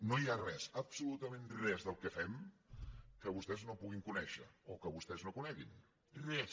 no hi ha res absolutament res del que fem que vostès no puguin conèixer o que vostès no coneguin res